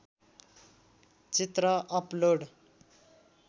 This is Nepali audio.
चित्र अपलोड